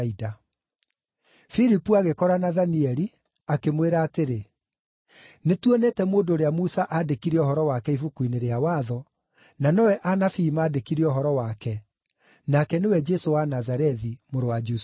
Filipu agĩkora Nathanieli, akĩmwĩra atĩrĩ, “Nĩtuonete mũndũ ũrĩa Musa aandĩkire ũhoro wake Ibuku-inĩ rĩa Watho, na nowe anabii maandĩkire ũhoro wake, nake nĩwe Jesũ wa Nazarethi, mũrũ wa Jusufu.”